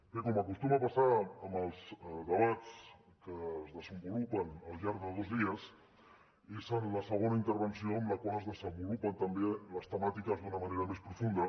bé com acostuma a passar en els debats que es desenvolupen al llarg de dos dies és en la segona intervenció en la qual es desenvolupen també les temàtiques d’una manera més profunda